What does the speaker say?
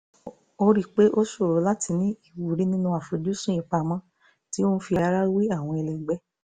ó rí i pé ó ṣòro láti ní ìwúrí nínú àfojúsùn ìpamọ́ tí ó ń fi ara wé àwọn ẹlẹgbẹ́